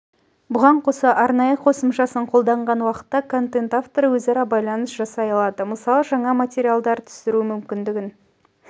бұған қоса арнайы қосымшасын қолданған уақытта пен контент авторы өзара байланыс жасай алады мысалы жаңа материалдар түсіру мүмкіндігін